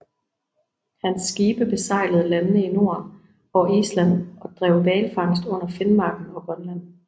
Hans skibe besejlede landene i Norden og Island og drev hvalfangst under Finmarken og Grønland